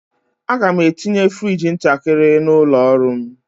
Aga m etinye frigi ntakịrị n'ụlọ ọrụ m.